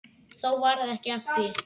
Þó varð ekki af því.